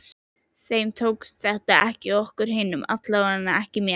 Þeim tókst þetta, ekki okkur hinum, allavega ekki mér.